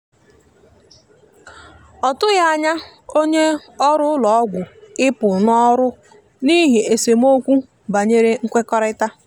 ọ tụghi anya onye ọrụ ụlọ ọgwụ ịpụ n'ọrụ n'ihi esemeokwu banyere nwekorita.